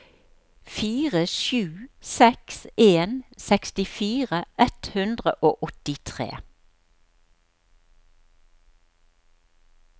fire sju seks en sekstifire ett hundre og åttitre